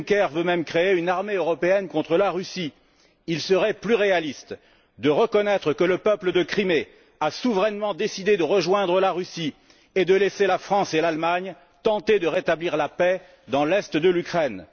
Juncker veut même créer une armée européenne contre la Russie. Il serait plus réaliste de reconnaître que le peuple de Crimée a souverainement décidé de rejoindre la Russie, et de laisser la France et l'Allemagne tenter de rétablir la paix dans l'est de l'Ukraine.